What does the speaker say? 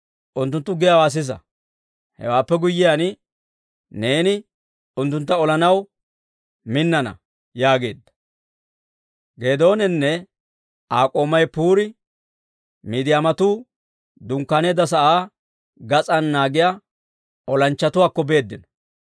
unttunttu giyaawaa sisa. Hewaappe guyyiyaan, neeni unttuntta olanaw minnana» yaageedda. Geedooninne Aa k'oomay Puuri, Midiyaamatuu dunkkaaneedda sa'aa gas'aan naagiyaa olanchchatuwaakko beeddino.